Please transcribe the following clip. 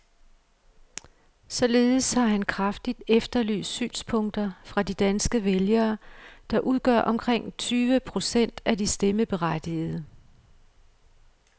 Således har han kraftigt efterlyst synspunkter fra de danske vælgere, der udgør omkring tyve procent af de stemmeberettigede.